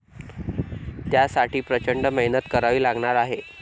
त्यासाठी प्रचंड मेहनत करावी लागणार आहे.